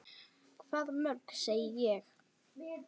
Hvað mörg, segi ég.